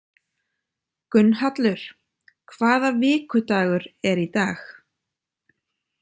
Gunnhallur, hvaða vikudagur er í dag?